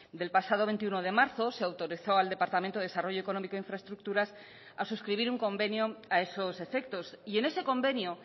del pasado veintiuno de marzo se autorizó al departamento de desarrollo económico e infraestructuras a suscribir un convenio a esos efectos y en ese convenio